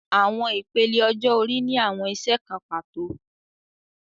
Awọn ipele ọjọ-ori ni awọn iṣẹ kan pato